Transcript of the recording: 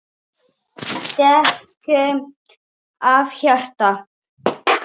Við þökkum af hjarta bæði.